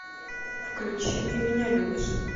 включи ты меня любишь